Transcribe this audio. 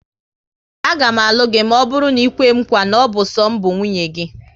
Aga m alụ gị maọbụru na ikwe m nkwa, na ọ bụ so m bụ nwunye gị